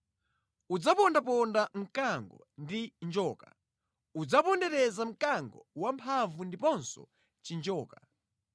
Udzapondaponda mkango ndi njoka, udzapondereza mkango wamphamvu ndiponso chinjoka.